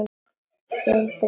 Hundur eða maður.